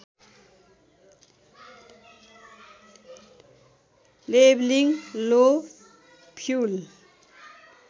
levelling low fuel